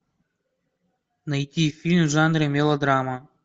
найти фильм в жанре мелодрама